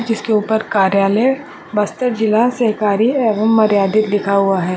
जिसके ऊपर कार्यालय बस्तर जिला सहकारी एवं मर्यादिक लिखा हुआ है।